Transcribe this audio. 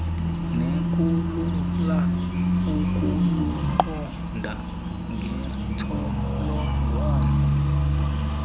nekulula ukuluqonda ngentsholongwane